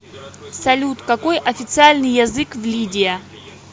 салют какой официальный язык в лидия